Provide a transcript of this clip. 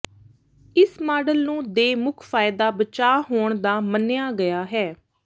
ਇਸ ਮਾਡਲ ਨੂੰ ਦੇ ਮੁੱਖ ਫਾਇਦਾ ਬਚਾਅ ਹੋਣ ਦਾ ਮੰਨਿਆ ਗਿਆ ਹੈ